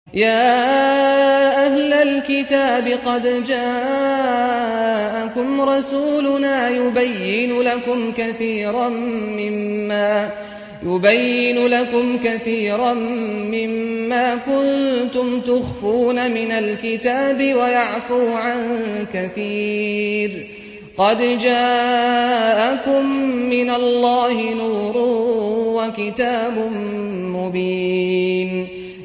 يَا أَهْلَ الْكِتَابِ قَدْ جَاءَكُمْ رَسُولُنَا يُبَيِّنُ لَكُمْ كَثِيرًا مِّمَّا كُنتُمْ تُخْفُونَ مِنَ الْكِتَابِ وَيَعْفُو عَن كَثِيرٍ ۚ قَدْ جَاءَكُم مِّنَ اللَّهِ نُورٌ وَكِتَابٌ مُّبِينٌ